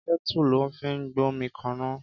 Kètú lò fi n gbómikàná